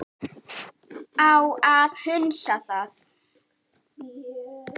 Á að hunsa það?